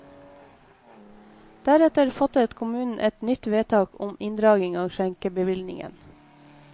Deretter fattet kommunen et nytt vedtak om inndragning av skjenkebevillingen.